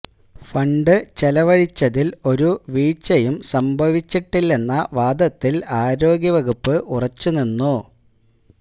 fund ചെലവഴിച്ചതില് ഒരു വീഴ്ചയും സംഭവിച്ചിട്ടില്ലെന്ന വാദത്തില് ആരോഗ്യ വകുപ്പ് ഉറച്ചു നിന്നു